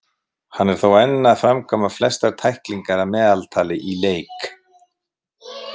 Hann er þó enn að framkvæma flestar tæklingar að meðaltali í leiks.